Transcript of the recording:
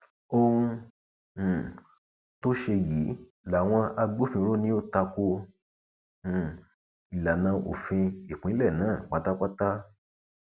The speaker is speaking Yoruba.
ohun um tó ṣe yìí làwọn agbófinró ni ó ta ko um ìlànà òfin ìpínlẹ náà pátápátá